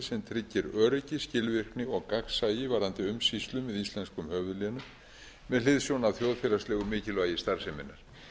sem tryggir öryggi skilvirkni og gagnsæi varðandi umsýslu með íslenskum höfuðlénum með hliðsjón af þjóðfélagslegu mikilvægi starfseminnar